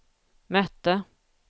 mötte